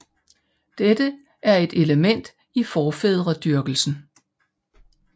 Dette var et element i forfædredyrkelsen